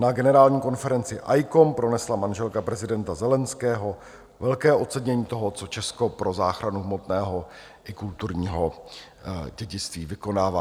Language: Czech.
Na generální konferenci ICOM pronesla manželka prezidenta Zelenského velké ocenění toho, co Česko pro záchranu hmotného i kulturního dědictví vykonává.